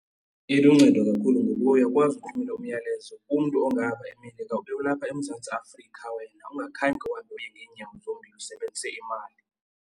Iluncedo kakhulu ngoba uyakwazi ukuthumela umyalezo kumntu ongapha eMelika ube ulapha eMzantsi Afrika wena ungakhange uye ngeenyawo zombini usebenzise imali.